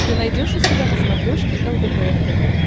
ты найдешь у себя на смотрешке лдпр тв